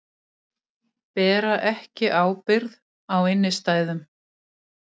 Bera ekki ábyrgð á innstæðum